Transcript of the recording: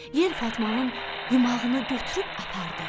Yel Fatmanın yumağını götürüb apardı.